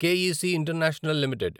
క్ E C International limited